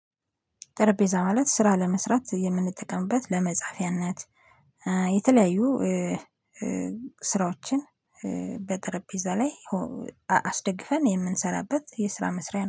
ጠረጴዛ ማለት ስራ ለመስራት የምንጠቀምበት ለመጻፊያነት። የተለያዩ ስራዎችን በጠረጴዛ ላይ አስደግፈን የምንሰራበት። የስራ መስሪያ